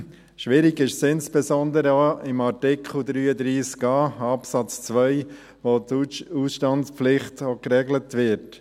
Schwierig ist es insbesondere auch bei Artikel 33a Absatz 2, wo die Ausstandspflicht geregelt wird.